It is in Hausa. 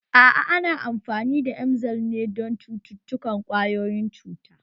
A'a ana amfani da emgyl ne don cututtukan ƙwayoyin cuta